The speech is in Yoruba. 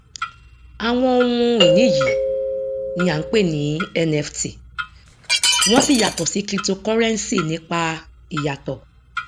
àwọn ohun ìní yìí ni a ń pè ní nft wọn sì yàtọ sí cryptocurrency nípa ìyàtọ